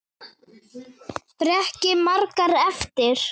Breki: Margar eftir?